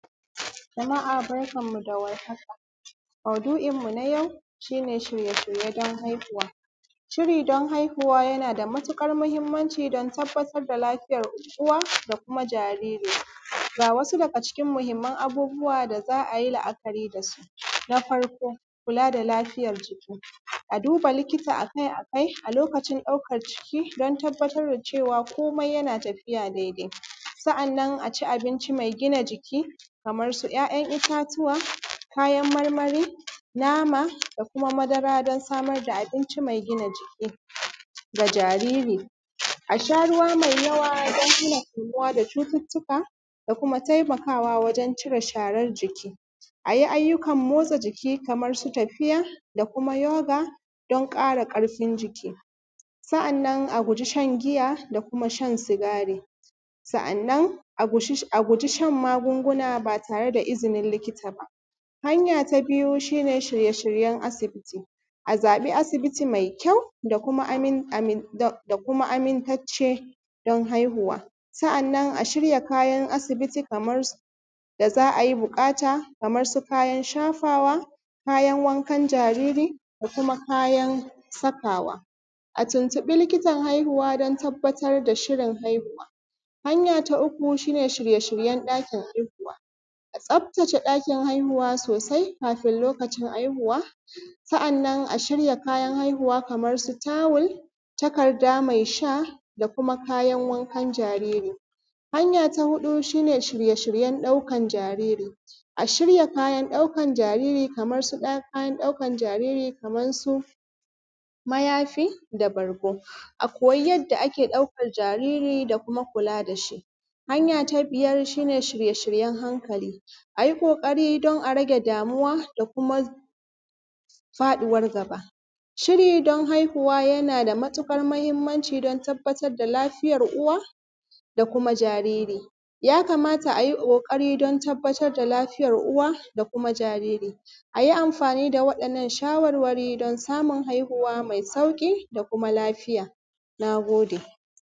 Jama’a barkanmu da war haka. Maudu’inmu na yau, shi ne shirye-shirye don haihuwa. Shiri don haihuwa yana da mutukar muhimmanci don tabbatar da lafiyar uwa da kuma jariri. Ga wasu daga cikin muhimman abubuwa da za a yi la’akari da su: Na farko, kula da lafiyar jiki. A duba likita a kai-a kai a lokacin ɗaukar ciki don tabbatar da cewa komai yana tafiya daidai. Sa’annan a ci abinci mai gina jiki kamar su `ya`yan itatuwa, kayan marmari, nama, da kuma madara don samar da abinci mai gina jiki ga jariri. A sha ruwa mai yawa don hana kamuwa da cututtuka, da kuma taimakawa wajen cire sharar jiki. A yi ayyukan motsa jiki kamar su tafiya, da kuma yoga, don ƙara ƙarfin jiki. Sa’annan a guji shan giya da kuma shan sigari. Sa’annan, a guji shan magunguna ba tare da izinin likita ba. Hanya ta biyu shi ne sirye-shiryen asibiti. A zaɓi asibiti mai kyau da kuma amintacce, don haihuwa. Sa’annan a shirya kayan asibiti kamar su, da za a yi buƙata kamar su kayan shafawa, kayan wankan jariri da kuma kayan sakawa. A tuntuɓi likitan haihuwa don tabbatar da shirin haihuwa. Hanya ta uku shi ne shirye-shiryen ɗakin haihuwa. A tsaftace ɗakin haihuwa sosai, kafin lokacin haihuwa. Sa’annan a shirya kayan haihuwa kamar su tawul, takarda mai sha, da kuma kayan wankan jariri. Hanya ta huɗu shi ne shirye-shiryen ɗaukan jariri. A shirya kayan ɗaukan jariri, kaman su, mayafi da bargo. A koyi yadda ake ɗaukar jariri da kuma kula da shi. Hanya ta biyar shi ne shirye-shiryen hankali. A yi ƙoƙari don a rage damuwa da kuma faɗuwar gaba. Shiri don haihuwa yana da mutuƙar mahimmanci don tabbatar da lafiyar uwa, da kuma jariri. Ya kamata a yi ƙoƙari don tabbatar da lafiyar uwa, da kuma jariri. A yi amfani da waɗannan shawarwari don samun haihuwa mai sauƙi da kuma lafiya. Na gode.